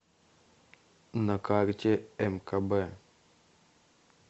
на карте мкб